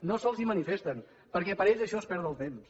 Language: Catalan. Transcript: no se’ls manifesten perquè per ells això és perdre el temps